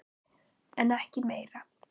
En ekki meira.